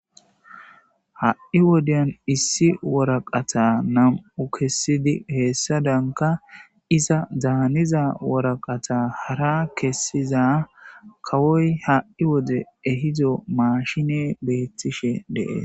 Ha'i wodiya issi woraqata nam'u kesidi izadanka iza daaniza woraqata hara kesiza kawoy ha'i wode ehido machiney betishe de'es